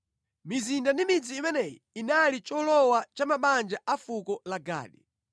Mizinda ndi midzi imeneyi inali cholowa cha mabanja a fuko la Gadi.